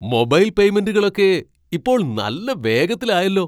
Mobile പേയ്മെന്റുകളൊക്കെ ഇപ്പോൾ നല്ല വേഗത്തിലായല്ലോ.